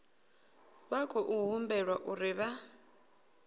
vha khou humbelwa uri vha